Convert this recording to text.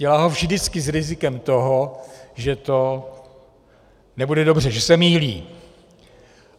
Dělá ho vždycky s rizikem toho, že to nebude dobře, že se mýlí.